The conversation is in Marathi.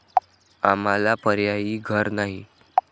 आम्हाला पर्यायी घर नाही.